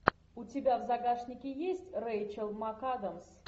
у тебя в загашнике есть рэйчел макадамс